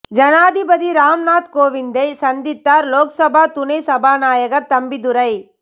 ஜனாதிபதி ராம் நாத் கோவிந்தை சந்தித்தார் லோக்சபா துணை சபாநாயகர் தம்பிதுரை